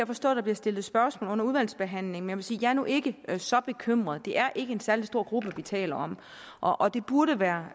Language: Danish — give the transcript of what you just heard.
forstå at der bliver stillet spørgsmål under udvalgsbehandlingen sige at jeg nu ikke er så bekymret det er ikke en særlig stor gruppe vi taler om og og det burde være